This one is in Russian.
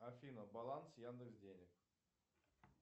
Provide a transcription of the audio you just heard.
афина баланс яндекс денег